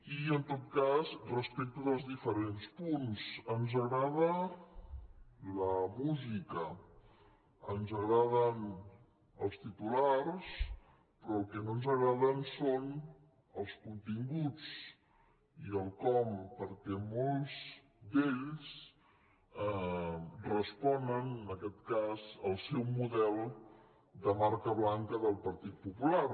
i en tot cas respecte dels diferents punts ens agrada la música ens agraden els titulars però el que no ens agrada són els continguts i el com perquè molts d’ells responen en aquest cas al seu model de marca blanca del partit popular